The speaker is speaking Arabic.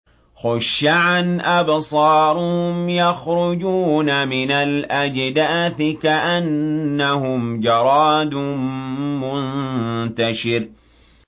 خُشَّعًا أَبْصَارُهُمْ يَخْرُجُونَ مِنَ الْأَجْدَاثِ كَأَنَّهُمْ جَرَادٌ مُّنتَشِرٌ